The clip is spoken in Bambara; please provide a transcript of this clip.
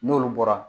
N'olu bɔra